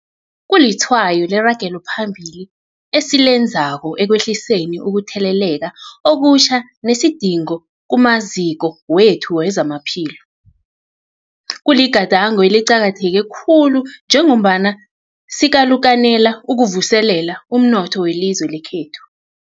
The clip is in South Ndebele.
Kulitshwayo leragelo phambili esilenzako ekwehliseni ukutheleleka okutjha nesidingo kumaziko wethu wezamaphilo. Kuligadango eliqakatheke khulu njengombana sikalukanela ukuvuselela umnotho welizwe lekhethu.